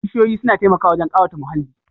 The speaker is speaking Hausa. Bishiyoyi suna taimakawa wajen ƙawata muhalli